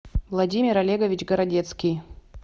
владимир олегович городецкий